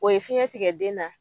O ye fiɲɛ tigɛ den na.